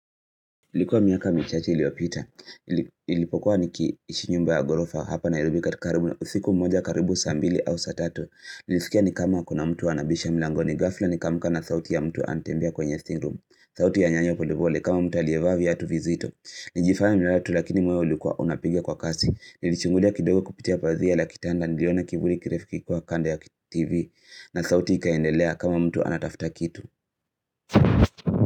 Ilikuwa miaka michache iliopita. Ilipokuwa nikiishinyumba ya ghorofa hapa na irubi kati karibu na usiku mmoja karibu sambili au satato. Nilizikia ni kama kuna mtu anabisha milangoni. Gafla ni kamka na sauti ya mtu antembia kwenye thingroom. Sauti ya nyanyo polepole kama mtu alievovya atu vizito. Nijifaya mraa tatu lakini mweo ilikuwa unapigia kwa kasi. Nilichungulia kidogo kupitia pazia la kitanda niliona kiburi kirefiki kwa kanda ya TV. Na sauti ikaendelea kama mtu anatafta kitu.